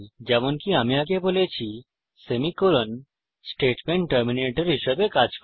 যেমনকি আমি আগে বলেছি সেমিকোলন স্টেটমেন্ট টার্মিনেটর হিসাবে কাজ করে